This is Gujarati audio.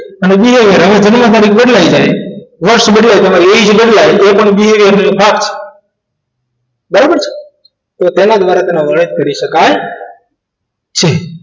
અને behaviour વર્ષ બદલાય એમાં એ જ બદલાઈ એ પણ છે ખાસ બરાબર તો તેના દ્વારા કરી શકાય છે